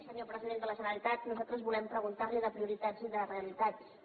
senyor president de la generalitat nosaltres volem preguntar li sobre prioritats i realitats també